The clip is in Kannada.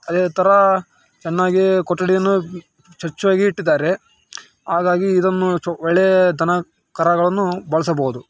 ಅದೇ ತರ ಚೆನ್ನಾಗಿ ಕೊಠಡಿಯನ್ನು ಸ್ವಚ್ಛವಾಗಿ ಇಟ್ಟಿದ್ದಾರೆ ಹಾಗಾಗಿ ಇದನ್ನು ಚ ಒಳ್ಳೆಯ ದನಕರಗಳನ್ನು ಬಳಸಬಹುದು.